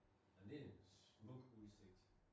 Men det en smuk udsigt